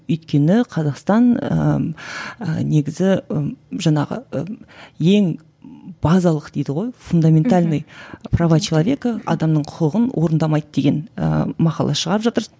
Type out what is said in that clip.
өйткені қазақстан ііі негізі і жаңағы і ең базалық дейді ғой фундаментальные права человека адамның құқығын орындамайды деген ііі мақала шығарып жатыр